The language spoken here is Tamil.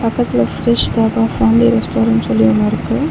பக்கத்துல ஃப்ரெஷ் தாபா ஃபேமிலி ரெஸ்டாரன்ட்னு சொல்லி ஒன்னு இருக்கு.